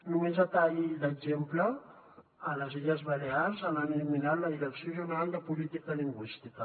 només a tall d’exemple a les illes balears han eliminat la direcció general de política lingüística